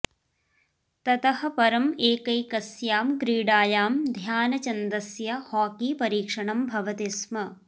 ततः परं एकैकस्यां क्रीडायां ध्यानचन्दस्य हॉकी परीक्षणं भवति स्म